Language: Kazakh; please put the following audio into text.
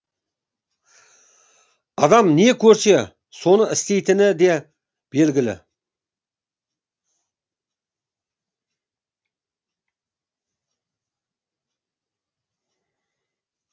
адам не көрсе соны істейтіні де белгілі